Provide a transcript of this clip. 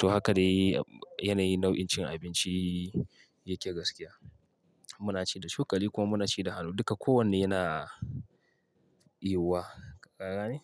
To haka ne yanayi nau'in cin abinci yake gaskiya. Muna ci da cokali kuma muna ci da hannu duka kowanne yana yiwuwa. Ka gane?